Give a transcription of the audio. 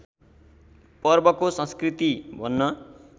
पर्वको संस्कृति भन्न